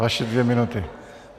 Vaše dvě minuty.